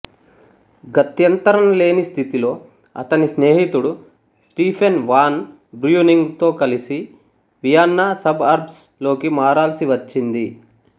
గత్యంతరం లేని స్థితిలో అతని స్నేహితుడు స్టీఫెన్ వాన్ బ్ర్యూనింగ్ తో కలిసి వియన్నా సబ్ అర్బ్స్ లోకి మారాల్సివచ్చింది